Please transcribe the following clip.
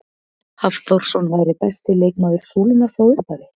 Hafþórsson væri besti leikmaður Súlunnar frá upphafi?